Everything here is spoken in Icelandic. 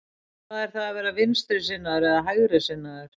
Hvað er það að vera vinstrisinnaður eða hægrisinnaður?